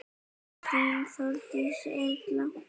Þín Þórdís Erla.